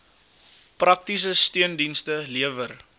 praktiese steundienste lewer